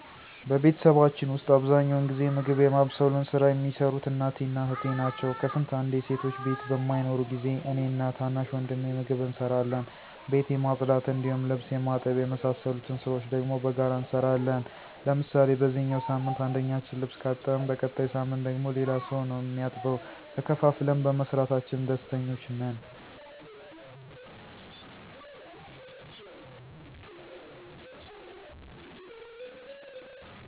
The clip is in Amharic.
በቤተሰባችን ዉስጥ አብዛኛውን ጊዜ ምግብ የማብሰሉን ሥራ የሚሰሩት እናቴ እና እህቴ ናቸው። ከስንት አንዴ ሴቶች ቤት በማይኖሩ ጊዜ እኔ እና ታናሽ ወንድሜ ምግብ እንሰራለን። ቤት የማፅዳት እንዲሁም ልብስ የማጠብ የመሳሰሉትን ስራዎች ደግሞ በጋራ እንሰራለን። ለምሳሌ በዚኛው ሳምንት አንደኛችን ልብስ ካጠብን በቀጣይ ሳምንት ደግሞ ሌላ ሰው ነው እሚያጥበው። ተከፋፍለን በመስራታችን ደስተኞች ነን።